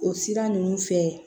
O sira ninnu fɛ